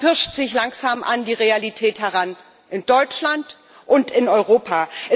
Man pirscht sich langsam an die Realität heran in Deutschland und in Europa.